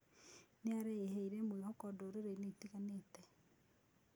Nĩaraehire mwĩhoko ndũrĩrĩ-inĩ itiganĩte